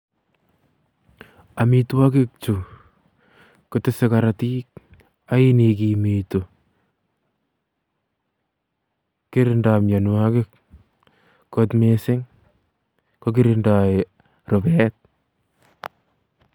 Amitwagiik chuu ko tese karotiik ak yain igimituu kirindai mianwagik kot missing kokirindai Rupeeet.